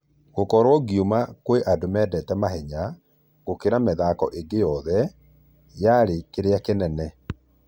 "Gokorwo ngiuma kwĩ andũ mendete mahenya gũkĩra mithako ĩngi yothe , yarĩ ....kĩrĩa kĩnene.